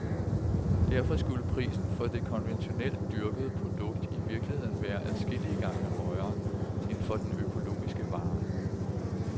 Derfor skulle prisen for det konventionelt dyrkede produkt i virkeligheden være adskillige gange højere end for den økologiske vare.